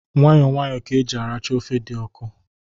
Nwayọ nwayọ ka eji aracha ofe dị ọkụ.